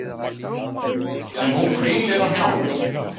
Sem hún hvílir á hnjánum.